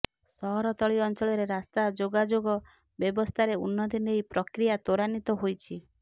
ସହରତଳି ଅଞ୍ଚଳରେ ରାସ୍ତା ଯୋଗାଯୋଗ ବ୍ୟବସ୍ଥାରେ ଉନ୍ନତି ନେଇ ପ୍ରକ୍ରିୟା ତ୍ୱରାନ୍ୱିତ ହୋଇଛି